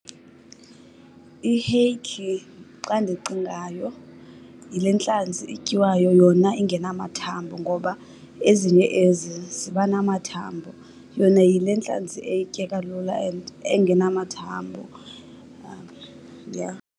Iheyikhi xa ndicingayo yile ntlanzi ityiwayo yona ingenamathambo, ngoba ezinye ezi ziba namathambo. Yona yile ntlanzi etyeka lula and engenamathambo, yha.